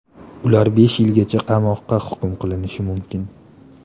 Ular besh yilgacha qamoqqa hukm qilinishi mumkin.